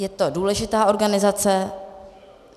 Je to důležitá organizace.